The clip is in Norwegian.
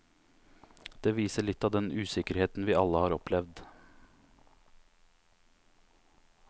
Det viser litt av den usikkerheten vi alle har opplevd.